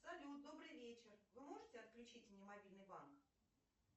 салют добрый вечер вы можете отключить мне мобильный банк